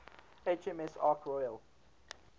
hms ark royal